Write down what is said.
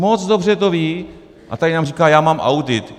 Moc dobře to ví a tady nám říká: já mám audit.